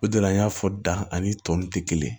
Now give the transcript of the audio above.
O de la n y'a fɔ da ani tɔ ninnu tɛ kelen ye